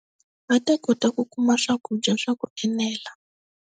Va ta kota ku kuma swakudya swa ku enela.